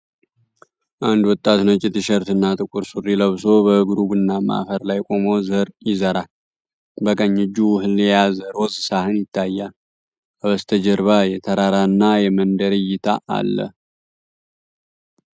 አንድ ወጣት ነጭ ቲሸርትና ጥቁር ሱሪ ለብሶ በእግሩ ቡናማ አፈር ላይ ቆሞ ዘር ይዘራል። በቀኝ እጁ እህል የያዘ ሮዝ ሳህን ይታያል። ከበስተጀርባ የተራራና የመንደር እይታ አለ።